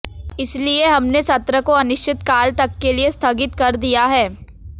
इसलिए हमने सत्र को अनिश्चितकाल तक के लिए स्थगित कर दिया है